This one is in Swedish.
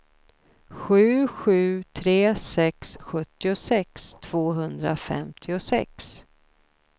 sju sju tre sex sjuttiosex tvåhundrafemtiosex